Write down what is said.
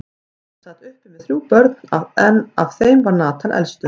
Ekkjan sat uppi með þrjú börn, en af þeim var Nathan elstur.